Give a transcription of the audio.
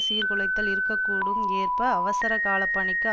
சீர்குலைதல் இருக்க கூடும் ஏற்ப அவசர கால பணிக்கு